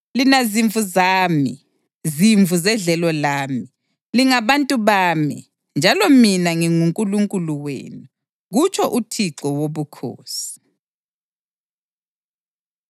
Lina zimvu zami, zimvu zedlelo lami, lingabantu bami, njalo mina nginguNkulunkulu wenu, kutsho uThixo Wobukhosi.’ ”